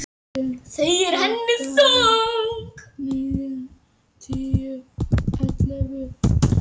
Þau eru henni þung.